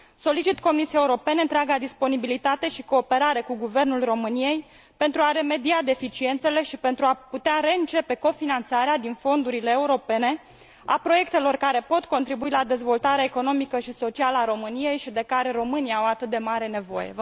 Solicit Comisiei Europene întreaga disponibilitate și cooperare cu guvernul României pentru a remedia deficiențele și pentru a putea reîncepe cofinanțarea din fondurile europene a proiectelor care pot contribui la dezvoltarea economică și socială a României și de care românii au atât de mare nevoie.